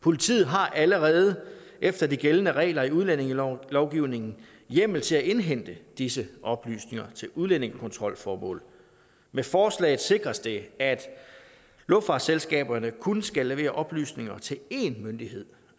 politiet har allerede efter de gældende regler i udlændingelovgivningen hjemmel til at indhente disse oplysninger til udlændingekontrolformål med forslaget sikres det at luftfartsselskaberne kun skal levere oplysninger til én myndighed